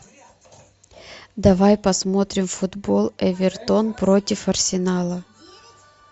давай посмотрим футбол эвертон против арсенала